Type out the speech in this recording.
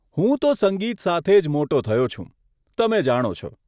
હું તો સંગીત સાથે જ મોટો થયો છું, તમે જાણો છો.